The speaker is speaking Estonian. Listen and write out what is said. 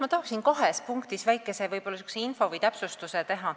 Ma tahan kahes punktis väikese täpsustuse teha.